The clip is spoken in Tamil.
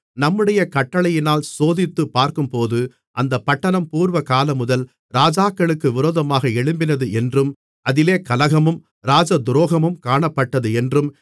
நம்முடைய கட்டளையினால் சோதித்துப் பார்க்கும்போது அந்தப் பட்டணம் பூர்வகாலமுதல் ராஜாக்களுக்கு விரோதமாக எழும்பினது என்றும் அதிலே கலகமும் ராஜதுரோகமும் காணப்பட்டது என்றும்